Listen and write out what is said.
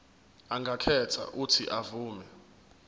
angakhetha uuthi avume